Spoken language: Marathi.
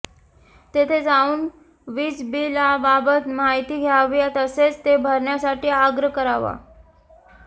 तेथे जाऊन वीजबिलाबाबत माहिती द्यावी तसेच ते भरण्यासाठी आग्रह करावा